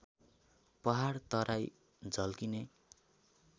पहाड तराई झल्किने